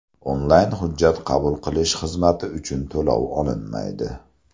Onlayn hujjat qabul qilish xizmati uchun to‘lov olinmaydi.